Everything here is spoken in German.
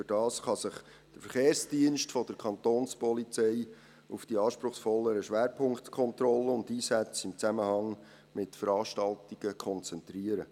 Dadurch kann sich der Verkehrsdienst der Kapo auf die anspruchsvolleren Schwerpunktkontrollen und Einsätze in Zusammenhang mit Veranstaltungen konzentrieren.